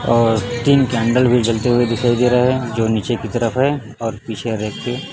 और तीन कैंडल भी जलते हुए दिखाई दे रहे हैं जो नीचे की तरफ है और पीछे रैक पे--